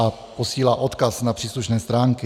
- A posílá odkaz na příslušné stránky.